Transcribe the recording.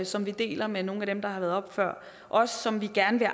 som vi deler med nogle af dem der har været oppe før os som vi gerne vil